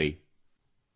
part 3